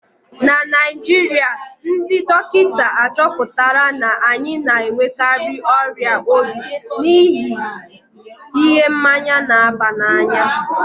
na Naijiria, ndị dọkịta achọpụtala na anyị na-enwekarị ọrịa obi n'ihi ihe mmanya na-aba n'anya